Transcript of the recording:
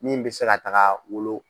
Min bɛ se ka taga wolo.